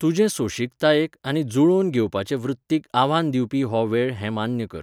तुजे सोंशिकतायेक आनी जुळोवन घेवपाचे वृत्तीक आव्हान दिवपी हो वेळ हें मान्य कर.